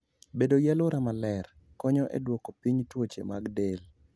Bedo gi alwora maler konyo e duoko piny tuoche mag del.